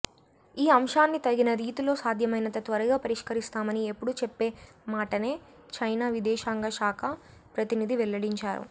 ఈ అంశాన్ని తగిన రీతిలో సాధ్యమైనంత త్వరగా పరిష్కరిస్తామని ఎప్పుడూ చెప్పే మాటనే చైనా విదేశాంగ శాఖ ప్రతినిధి వెల్లడించారు